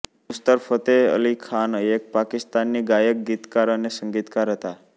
નુસરત ફતેહ અલી ખાન એક પાકિસ્તાની ગાયક ગીતકાર અને સંગીતકાર હતા